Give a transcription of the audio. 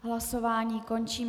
Hlasování končím.